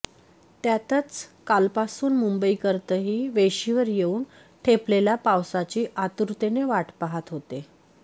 त्यातच कालपासून मुंबईकरतही वेशीवर येऊन ठेपलेल्या पावसाची आतुरतेनं वाट पाहत होते